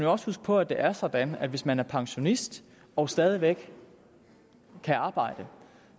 også huske på at det er sådan at hvis man er pensionist og stadig væk kan arbejde